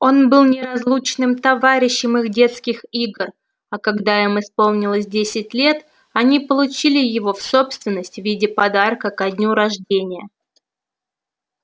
он был неразлучным товарищем их детских игр а когда им исполнилось десять лет они получили его в собственность в виде подарка ко дню рождения